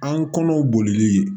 An kɔnɔw bolili